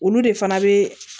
Olu de fana bɛ